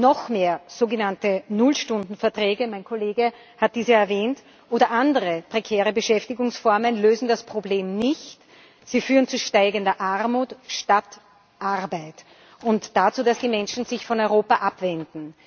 Noch mehr sogenannte Nullstunden Verträge mein Kollege hat dies ja erwähnt oder andere prekäre Beschäftigungsformen lösen das Problem nicht, sie führen zu steigender Armut statt zu Arbeit und dazu, dass die Menschen sich von Europa abwenden.